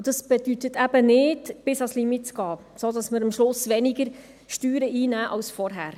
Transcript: Dies bedeutet nicht, bis ans Limit zu gehen, sodass wir am Schluss weniger Steuern einnehmen als zuvor.